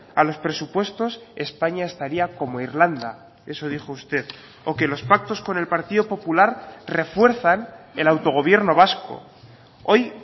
a los presupuestos españa estaría como irlanda eso dijo usted o que los pactos con el partido popular refuerzan el autogobierno vasco hoy